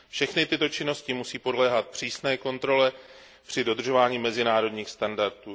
Všechny tyto činnosti musí podléhat přísné kontrole při dodržování mezinárodních standardů.